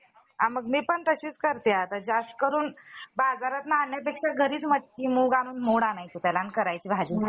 unbreakable आहे अजून पर्यंत कोणी तोडलेला नाही आहे. आणि पाही~ पहिले जुन्या जमान्याचे player पण खूपच होऊन गेलेले सुनील गावास्कार, सचिन तेंडुलकर, ब्रायन लारा वगैरे